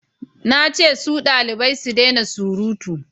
na ce su dalibai su dena surutu!